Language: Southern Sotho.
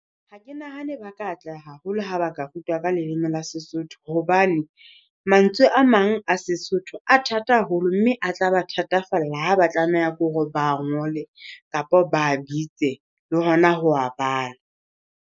Ha ke nahane ba ka atleha haholo ha ba ka rutwa ka leleme la Sesotho hobane, mantswe a mang a Sesotho a thata haholo, mme a tla ba thatafalla ha ba tlameha ke hore ba ngole kapa ba bitse le hona ho wa bala.